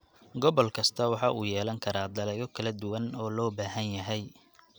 Gobol kasta waxa uu yeelan karaa dalagyo kala duwan oo loo baahan yahay.